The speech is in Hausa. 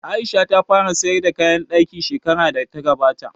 Aisha ta fara sayar da kayan ɗaki shekarar da ta gabata